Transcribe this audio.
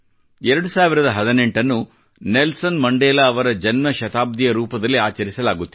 2018 ನ್ನು Nelson Mandela ಅವರ ಜನ್ಮ ಶತಾಬ್ದಿಯ ರೂಪದಲ್ಲಿ ಆಚರಿಸಲಾಗುತ್ತಿದೆ